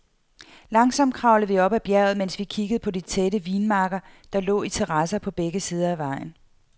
Langsomt kravlede vi op af bjerget, mens vi kiggede på de tætte vinmarker, der lå i terrasser på begge sider af vejen.